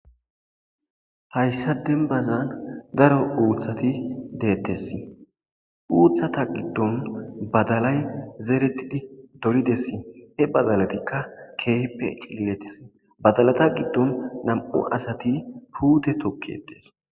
Hayssa denbazaan daro uuthati deettes uuthata giddon badalay zeeretidi dolides e badalatikka keehppe cililetes badalata giddon nam7u asati puute tokkedes.